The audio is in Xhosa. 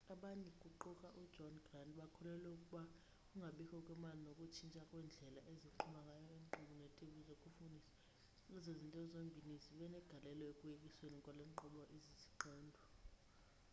abanye kuquka ujohn grant bakholelwa ukuba ukungabikho kwemali nokutshintsha kwendlela eziqhuba ngayo iinkqubo zetv zokufundisa ezo zinto zombini zibe negalelo ekuyekisweni kwale nkqubo iziziqendu